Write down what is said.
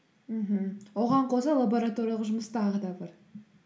мхм оған қоса лабораториялық жұмыс тағы да бар